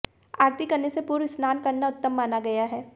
आरती करने से पूर्व स्नान करना उत्तम माना गया है